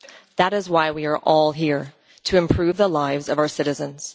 That is why we are all here to improve the lives of our citizens.